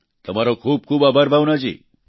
તમારો ખૂબ ખૂબ આભાર ભાવના જી